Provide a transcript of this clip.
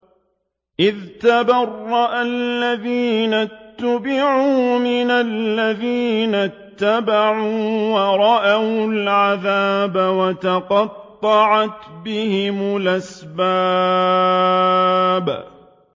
إِذْ تَبَرَّأَ الَّذِينَ اتُّبِعُوا مِنَ الَّذِينَ اتَّبَعُوا وَرَأَوُا الْعَذَابَ وَتَقَطَّعَتْ بِهِمُ الْأَسْبَابُ